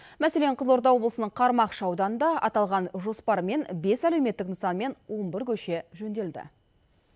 мәселен қызылорда облысының қармақшы ауданында аталған жоспармен бес әлеуметтік нысан мен он бір көше жөнделді